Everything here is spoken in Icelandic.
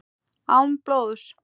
Án blóðs.